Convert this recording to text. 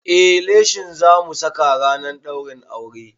Eh, leshin zamu saka ranar ɗaurin auren